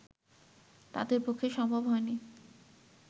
তাঁদের পক্ষে সম্ভব হয়নি